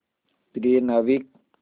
प्रिय नाविक